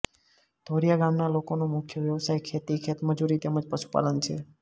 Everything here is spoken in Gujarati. ધોરીયા ગામના લોકોનો મુખ્ય વ્યવસાય ખેતી ખેતમજૂરી તેમ જ પશુપાલન છે